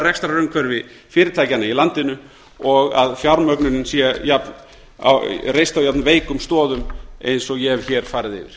rekstrarumhverfi fyrirtækjanna í landinu og að fjármögnunin sé reist á jafnveikum stöðum og ég hef hér farið yfir